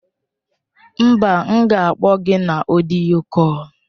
Mba, m ga-akpọ gị na ọdịyo kọl.